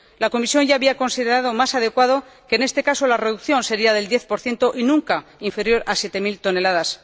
La Comisión ya había considerado más adecuado que en este caso la reducción fuera del 10 nunca inferior a siete mil toneladas.